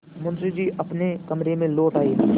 मुंशी जी अपने कमरे में लौट आये